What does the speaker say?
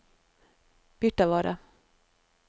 Birtavarre